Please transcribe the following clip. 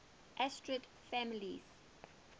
asterid families